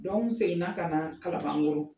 n segin ka na kalabankoro.